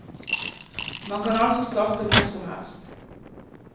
Man kan altså starte hvor som helst.